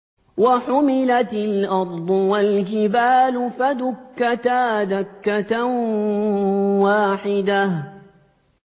وَحُمِلَتِ الْأَرْضُ وَالْجِبَالُ فَدُكَّتَا دَكَّةً وَاحِدَةً